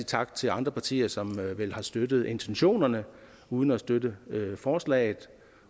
tak til andre partier som vel har støttet intentionerne uden at støtte forslaget